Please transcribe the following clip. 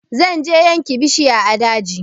Zan je yanke bishiya a daji